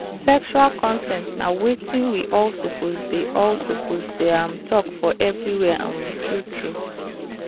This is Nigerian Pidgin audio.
sexual consent na watin we all suppose dey all suppose dey um talk for everywhere um true true.